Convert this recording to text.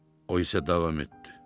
O isə davam etdi.